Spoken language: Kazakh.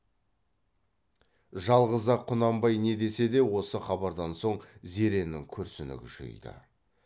жалғыз ақ құнанбай не десе де осы хабардан соң зеренің күрсіні күшейді